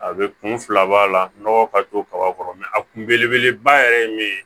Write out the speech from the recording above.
A bɛ kun filab'a la nɔgɔ ka to kaba kɔrɔ a kun belebeleba yɛrɛ ye min ye